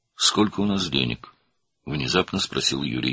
"Bizdə nə qədər pul var?" - Yuri qəflətən soruşdu.